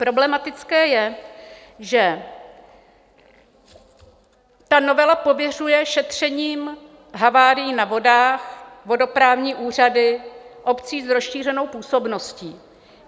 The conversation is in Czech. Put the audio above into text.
Problematické je, že ta novela pověřuje šetřením havárií na vodách vodoprávní úřady obcí s rozšířenou působností.